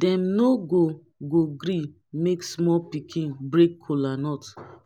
dem no go go gree make small pikin break kolanut